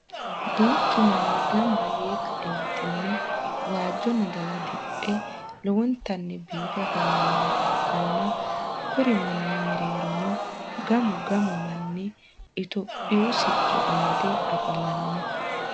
duuchu manni ganba yee ka'eenitinni waajo naxala diphe lowontanni biife afamannoha ikanna kuri manni mereeronno gamu gamu manni ethihopiyu sicco amadde afamanno.